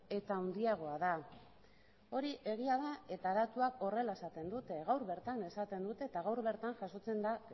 eta handiagoa da hori egia da eta datuak horrela esaten dute gaur bertan esaten dute eta gaur bertan jasotzen da